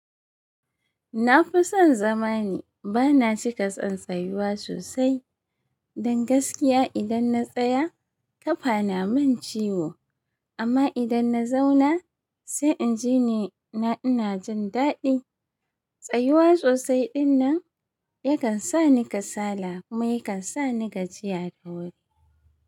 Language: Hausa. Na fi son zama ne, ba na cika son tsayuwa sosai. Don gaskiya idan na tsaya ƙafa na min ciwo amma idan na zauna sai in ji ne ina jin daɗi. Tsayuwa sosai dinnan yakan sa ni kasala kuma yakan sa ni gajiya da wuri.